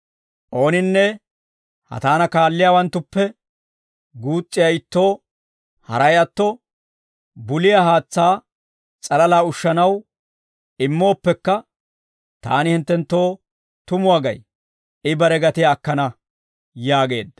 Ooninne ha taana kaalliyaawanttuppe guus's'iyaa ittoo, haray atto buliyaa haatsaa s'alalaa ushanaw immooppekka, taani hinttenttoo tumuwaa gay; I bare gatiyaa akkana» yaageedda.